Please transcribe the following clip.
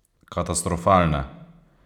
Katastrofalne!